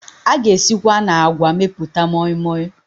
A ga esikwa na àgwà mepụta mọịmọị